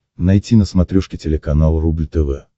найти на смотрешке телеканал рубль тв